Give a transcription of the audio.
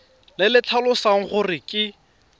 le le tlhalosang gore ke